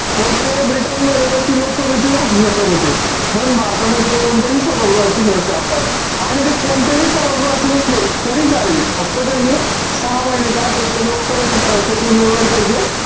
तर ते ब्रिटनमध्ये तशी लोकसभेचेच असू शकत होते. पण भारतामध्ये ते कोणत्याही सभागृहाचे सदस्य असतात. आणि ते कोणत्याही सभागृहाचे नसले तरी चालेल. फक्त त्यांनी सहा महिन्याच्या आत एक त लोकसभेच सदस्यत्व मिळवायला पाहिजे.